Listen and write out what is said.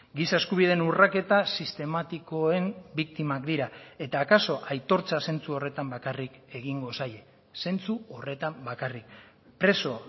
giza eskubideen urraketa sistematikoen biktimak dira eta akaso aitortza zentzu horretan bakarrik egingo zaie zentzu horretan bakarrik preso